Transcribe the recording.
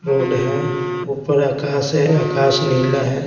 Road है ऊपर आकाश है आकाश नीला है।